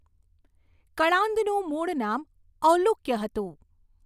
કણાંદનું મૂળ નામ ઔલુકય હતું.